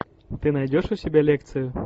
ты найдешь у себя лекцию